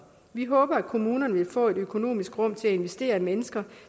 vi håber at kommunerne vil få et økonomisk rum til at investere i mennesker